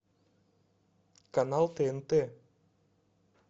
канал тнт